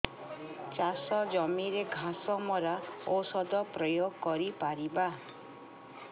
ଚାଷ ଜମିରେ ଘାସ ମରା ଔଷଧ ପ୍ରୟୋଗ କରି ପାରିବା କି